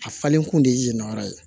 A falen kun de ye na yɔrɔ ye